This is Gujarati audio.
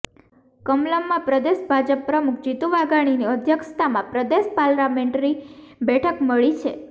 કમલમમાં પ્રદેશ ભાજપ પ્રમુખ જીતુ વાઘાણીની અધ્યક્ષતામાં પ્રદેશ પાર્લામેન્ટરી બેઠક મળી છે